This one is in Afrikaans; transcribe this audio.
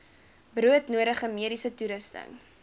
broodnodige mediese toerusting